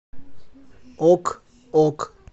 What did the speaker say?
ок ок